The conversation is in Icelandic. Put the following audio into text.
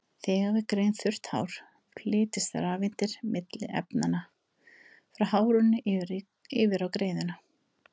Þegar við greiðum þurrt hár flytjast rafeindir milli efnanna, frá hárinu yfir á greiðuna.